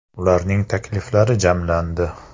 Ularning takliflari jamlandi.